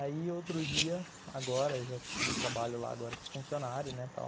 Aí outro dia, agora eu já trabalho lá, agora sou funcionário, né, tal.